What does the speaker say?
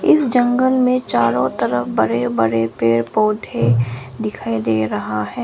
इस जंगल में चारों तरफ बड़े बड़े पेड़ पौधे दिखाई दे रहा है।